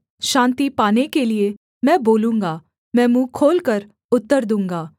शान्ति पाने के लिये मैं बोलूँगा मैं मुँह खोलकर उत्तर दूँगा